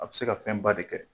A be se ka fɛn ba de kɛ.